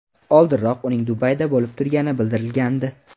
Oldinroq uning Dubayda bo‘lib turgani bildirilgandi .